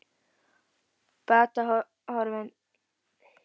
Batahorfur eru í beinu hlutfalli við útbreiðslu æxlisins.